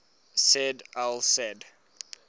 said al said